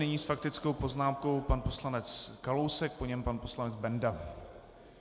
Nyní s faktickou poznámkou pan poslanec Kalousek, po něm pan poslanec Benda.